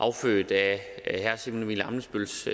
affødt af herre simon emil ammitzbølls